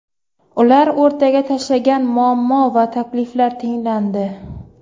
Ular o‘rtaga tashlagan muammo va takliflar tinglandi.